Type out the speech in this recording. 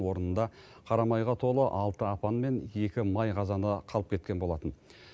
орнында қара майға толы алты апан мен екі май қазаны қалып кеткен болатын